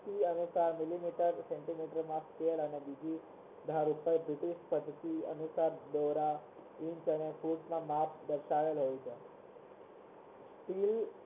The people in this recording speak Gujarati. અનુસાર millimeter centimeter દર્શાવેલો હોય છે